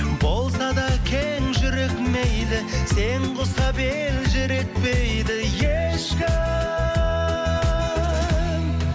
болса да кең жүрек мейлі сен ұқсап елжіретпейді ешкім